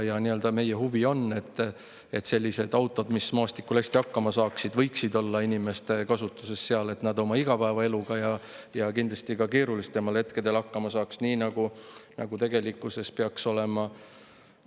Ja meie huvi on, et sellised autod, mis maastikul hästi hakkama saavad, võiksid olla inimeste kasutuses selleks, et nad oma igapäevaeluga ja kindlasti ka keerulisematel hetkedel hakkama saaksid, nii nagu tegelikkuses peaks olema.